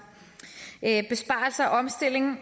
besparelser omstilling